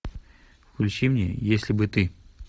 включи мне если бы ты